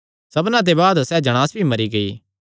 सबना दे बाद सैह़ जणांस भी मरी गेई